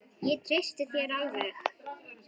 Ég treysti þér alveg!